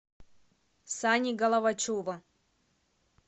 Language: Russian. сани головачева